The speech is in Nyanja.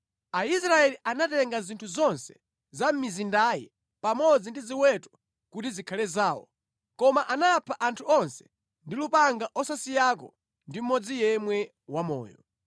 Aisraeli anatenga zinthu zonse za mʼmizindayi pamodzi ndi ziweto kuti zikhale zawo, koma anapha anthu onse ndi lupanga osasiyako ndi mmodzi yemwe wamoyo.